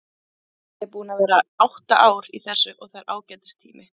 Ég er búinn að vera átta ár í þessu og það er ágætis tími.